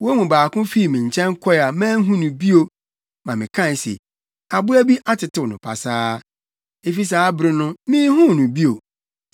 Wɔn mu baako fii me nkyɛn kɔe a manhu no bio ma mekae se, “Aboa bi atetew no pasaa.” Efi saa bere no, minhuu no bio.